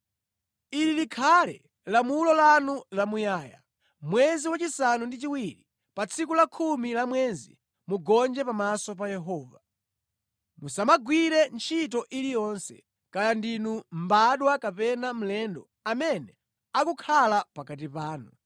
“Ili likhale lamulo lanu lamuyaya: Mwezi wachisanu ndi chiwiri, pa tsiku la khumi la mwezi, mugonje pamaso pa Yehova. Musamagwire ntchito iliyonse, kaya ndinu mbadwa kapena mlendo amene akukhala pakati panu,